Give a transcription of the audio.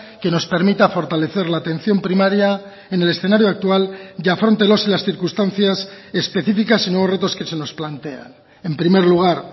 que nos permita fortalecer la atención primaria en el escenario actual y afronte los y las circunstancias específicas y nuevos retos que se nos plantean en primer lugar